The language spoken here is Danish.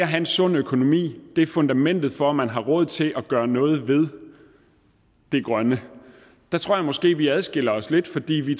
have en sund økonomi er fundamentet for at man har råd til at gøre noget ved det grønne der tror jeg måske vi adskiller os lidt fordi vi